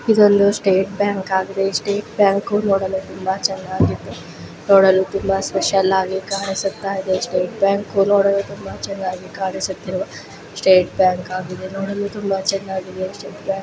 ಇದೊಂದು State Bank ಆಗಿದೆ ಈ ಸ್ಟೇಟ್ ಬ್ಯಾಂಕ್ ನೋಡಲು ತುಂಬಾ ಚೆನ್ನಾಗಿದ್ದು ನೋಡಲು ತುಂಬಾ ಸ್ಪೆಷಲ್ ಆಗಿ ಕಾಣಿಸುತ್ತಾಯಿದೆ. ಸ್ಟೇಟ್ ಬ್ಯಾಂಕ್ ನೋಡಲು ತುಂಬಾ ಚೆನ್ನಾಗಿ ಕಾಣಿಸುತ್ತಿರುವ ಸ್ಟೇಟ್ ಬ್ಯಾಂಕ್ ಆಗಿದೆ. ನೋಡಲು ತುಂಬಾ ಚೆನ್ನಾಗಿದೆ ಸ್ಟೇಟ್ ಬ್ಯಾಂಕ್ .